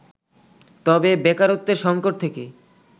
তবে বেকারত্বের সংকট থেকে